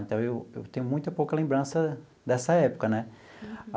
Então, eu eu tenho muita pouca lembrança dessa época né.